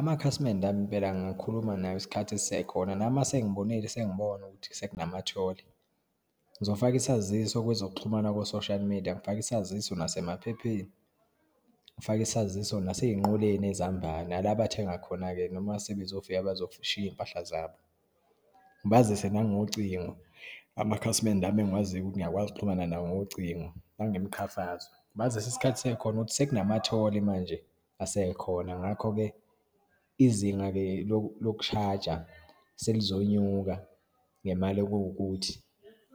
Amakhasimende ami impela ngingakhuluma nawo isikhathi sisekhona, nami uma sengibonile sengibona ukuthi sekunamatholi, ngizofaka isaziso kwezokuxhumana ku-social media, ngifake isaziso nasemaphepheni, ngifake isaziso naseyinqoleni ezihambayo, nala bathenga khona-ke, noma sebezofika bezoshiya iyimpahla zabo. Ngibazise nangocingo, amakhasimende ami, engiwaziyo ukuthi ngiyakwazi uxhumana nawo ngocingo nangemiqhafazo. Ngibazise isikhathi sisekhona ukuthi sekunamatholi manje asekhona. Ngakho-ke, izinga-ke lokushaja selizonyuka ngemali ekuwukuthi,